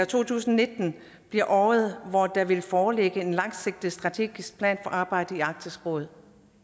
to tusind og nitten bliver året hvor der vil foreligge en langsigtet strategisk plan for arbejdet i arktisk råd